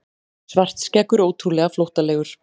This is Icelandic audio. Svartskeggur ótrúlega flóttalegur.